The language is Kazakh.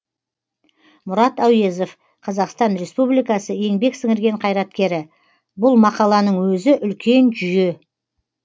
мұрат әуезов қазақстан республикасы еңбек сіңірген қайраткері бұл мақаланың өзі үлкен жүйе